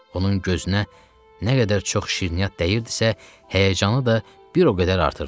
Onun gözünə nə qədər çox şirniyyat dəyirdisə, həyəcanı da bir o qədər artırdı.